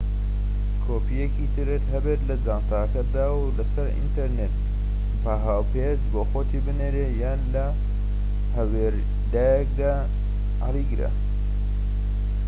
کۆپیەکی ترت هەبێت لە جانتاکەتدا و لەسەر ئینتەرنێت بە هاوپێچ بۆخۆتی بنێرە، یان لە هەورەیادگە"دا هەلیگرە